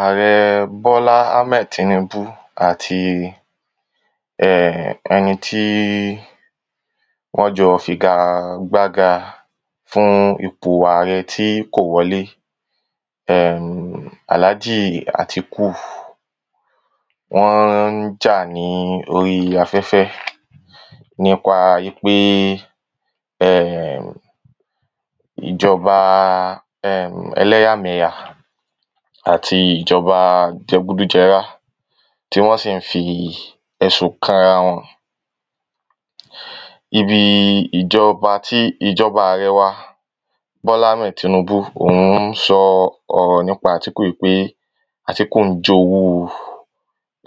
Àwọn bọ́lá hammed tinúbú àti um ẹnití wọ́n jọ figa gbá ga fún ipò arẹ tí kò wọlé um àlájì àtíkù wọ́n ń jà ní orí afẹ́fẹ́ níkpa wípé um ìjọba um ẹlẹ́yà mẹ̀yà àti ìjọba jẹgúdú jẹrá tí wọ́n sì ń fi ẹ̀sùn kanra wọn. Ibi ìjọba tí ìjọba àrẹ wa bọ́lá hammed tinúbú òhun ń sọ ọ̀rọ̀ nípa àtíkù wípé àtíkù ń jowú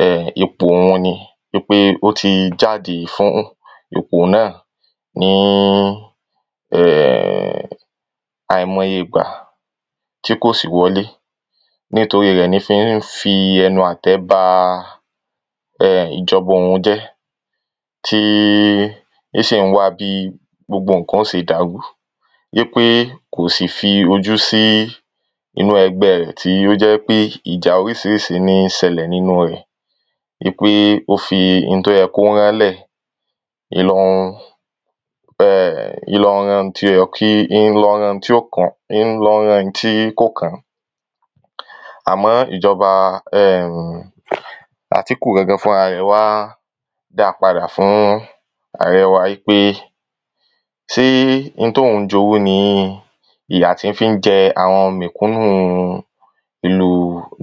um ipò òhun ni pé ó ti jáde fún ipò náà ní um àìmọye ìgbà tí kò sì wọlé. Nítorí rẹ̀ ló se ń fi ẹnu àtẹ́ ba um ìjọba òhun jẹ́ tí tó sì ń wá bí gbogbo nǹkan ó ṣe dàrú wípé kò sì fi ojú sí inú ẹgbẹ́ rẹ̀ tó jẹ́ pé ìjà orísirísi ní ṣẹlẹ̀ wípé ó fi n tó yẹ kó rán lẹ̀ ó ń lọ́ ń um ń lọ́ rán ń lọ́ rán ń lọ́ rán n tí kò kán. Àmọ́ ìjọba àtíkù gangan fúnra rẹ̀ dá padà fún àrẹ wa wípé tí n tóhun ń jowú ni ìyà tí fí ń jẹ àwọn mẹ̀kúnù ìlú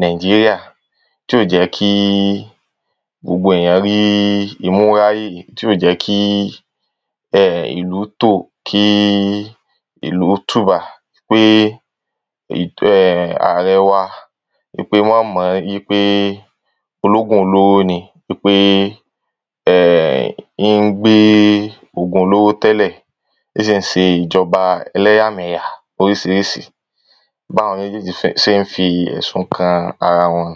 nàíjíríà tí ò jẹ́ kí gbogbo èyàn rí ìmúra yìí tí ó jẹ́ kí um ìlú tó tí ó jẹ́ kí ìlú ó tùbà pé um àrẹ wa wípé wọ́n mọ wípé wọ́n bún lówó ni wípé um ń gbé òògùn olóró tẹ́lẹ̀ ń sì ń ṣe ìjọba ẹlẹ́yà mẹ̀yà oríṣiríṣi báwọn méjéjì ṣé ń fi ẹ̀sùn kanra wọn.